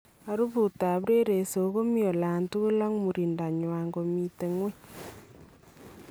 Arubuutab reresook komii olon tugul ak muriindo nywan komiten ngweny